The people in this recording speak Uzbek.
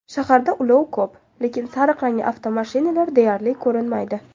Shaharda ulov ko‘p, lekin sariq rangli avtomashinalar deyarli ko‘rinmaydi.